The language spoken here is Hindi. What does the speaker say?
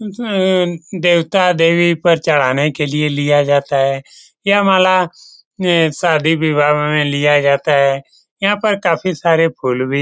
उम् देवता देवी पर चढ़ाने के लिए लिया जाता है यह माला शादी विवाह में लिया जाता है यहाँ पे काफी सारे फूल भी --